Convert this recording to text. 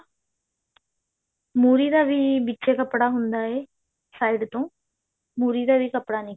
ਮੁਰ੍ਹੀ ਦਾ ਵੀ ਵਿੱਚੇ ਕੱਪੜਾ ਹੁੰਦਾ ਹੈ side ਤੋਂ ਮੁਰ੍ਹੀ ਦਾ ਵੀ ਕੱਪੜਾ